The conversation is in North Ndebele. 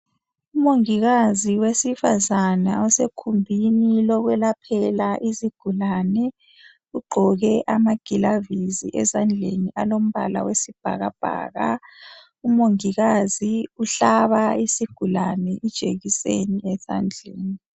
Umongikazi wesifazane osegumbini lokuyelaphela izigulane ugqoke amagilavisi ezandleni alombala wesibhaka bhaka, umongikazi uhlaba isigulane ijekiseni esandleni.